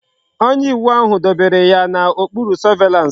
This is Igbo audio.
Onye iwu ahu dobere ya na okpuru surveillance